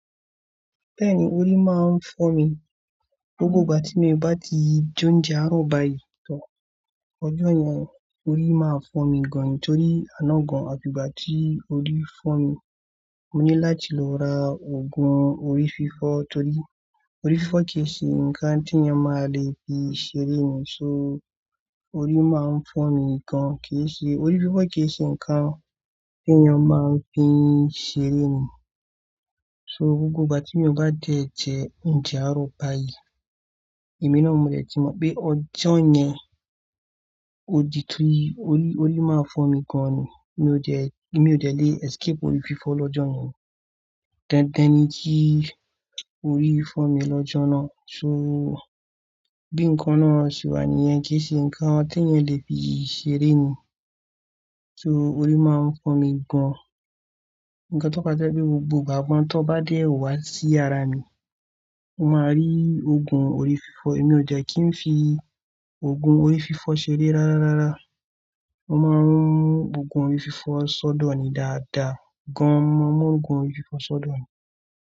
Bẹ́ẹ̀ni, orí máa ń fọ́ mi. Gbogbo ìgbà tí mo bá ti je ouńjẹ àárọ̀ báyìí tán ọjọ́ yẹn orí máa fọ́ mi gan Nítorí àná gan, àfi ìgbà tí orí fọ́ mi, mo ní láti lọ ra ògùn orí fífọ́ torí orí fífọ́ kì í ṣe nǹkan tí ẹni ọmọ máa le fi ṣeré ni. So orí máa ń fọ́n mi gan kì í ṣe, orí fífọ́ kì í ṣe nǹkan tí eeyan máa ń fi ṣeré ni. So gbogbo ìgbà tí mi o bá dé jẹ ounjẹ àárọ̀ báyìí, èmi náà mo dẹ̀ ti mọ̀ pé ọjọ́ yẹn ó di túní, orí, orí máa fọ́ mi gan ni. Mi ò jẹ́, èmi ò dẹ́lẹ̀ escape orí fífọ́ lọ́jọ́ yẹn. Dandan ni kí orí fọ́ mi lọ́jọ́ náà. So bí nǹkan náà ṣe wà níyẹn kì í ṣe nǹkan tí eeyan lè fi ṣeré ni. So orí máa ń fọ́n mi gan. Ǹkan tó ma tí jẹ pé gbogbo ìgbàgbọ́ tí ó bá dé wá sí yàrá mi, ó máa rí ògùn orí fífọ́. Èmi ò jẹ́ kí ń fi ògùn orí fífọ́ ṣeré rárá rárá. mÓ máa mún ògùn orí fífọ́ sọ́dọ̀ ni dáadáa gan mo mọ̀ ọ́n, ògùn orí fífọ́ sọ́dọ̀ ni.